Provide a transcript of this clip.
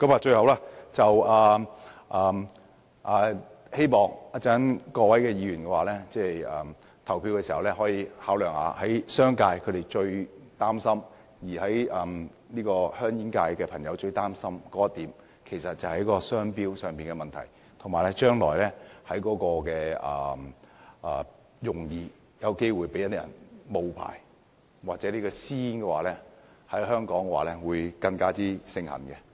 最後，我希望各位議員稍後在投票時，可以考慮商界及煙草業界人士最擔心的商標問題，或會引致將來容易被假冒，或導致私煙在香港更加盛行。